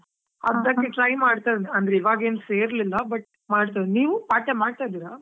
Try ಮಾಡ್ತಿದ್ದೇನೆ, ಅಂದ್ರೆ ಇವಾಗಾ ಏನು ಸೇರಿಲ್ಲಾ, but ಮಾಡ್ತೇನೆ, ನೀವು part time ಮಾಡ್ತಾ ಇದ್ದೀರಾ?